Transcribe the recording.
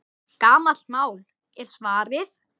Gamalt mál, er svarið.